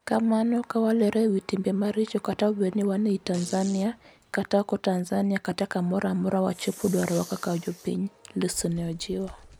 "kamano kawalero e wi timbe maricho kata obed ni wan e i Tanzania, kata oko Tanzania kata kamoro amora wachopo dwarowa kaka jopiny," Lissu ne ojiwo